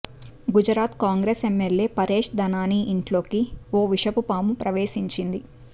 Gujarat Congress MLA Paresh Dhanani ఇంట్లోకి ఓ విషపు పాము ప్రవేశించింది